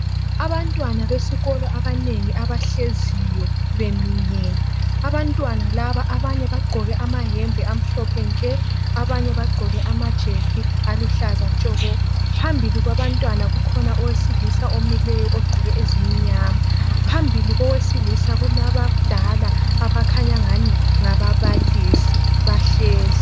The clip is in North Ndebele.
abantwana besikolo abanengi abahleziyo beminyene abantwana laba abanye bagqoke amayembe amhlophe nke abanye bagqoke amajesi aluhlaza tshoko phambili kwabantwana kukhona owesilisa omileyo ogqoke ezimnyama phambili kowesilisa abukudala okukhanya engani ngababalisi bahlezi